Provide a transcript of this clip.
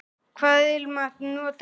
Hvaða ilmvatn notar þú?